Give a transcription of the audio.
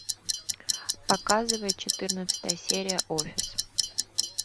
показывай четырнадцатая серия офис